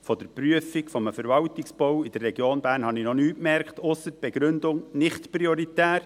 Von der Prüfung eines Verwaltungsbaus in der Region Bern habe ich noch nichts gemerkt, ausser der Begründung «nicht prioritär».